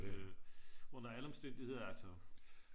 Øh under alle omstændigheder altså